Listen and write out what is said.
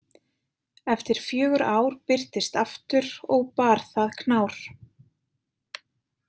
Eftir fjögur ár birtist aftur, og bar það knár.